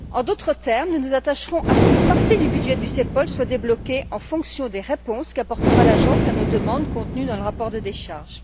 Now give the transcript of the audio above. En d'autres termes, nous nous attacherons à ce qu'une partie du budget du CEPOL soit débloquée en fonction des réponses qu'apportera l'agence à nos demandes contenues dans la demande de décharge.